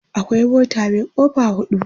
akwai mota Mai kofa hudu